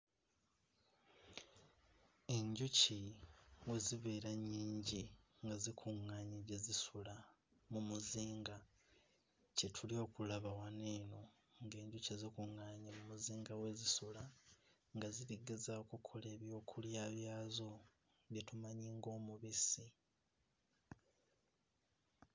Enjuki bwe zibeera nnyingi nga zikuŋŋaanye gye zisula mu muzinga, kye tuli okulaba wano eno, ng'enjuki zikuŋŋaanye mu muzinga we zisula nga ziri ggezaako kola eby'okulya byazo bye tumanyi ng'omubisi.